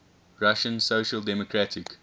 russian social democratic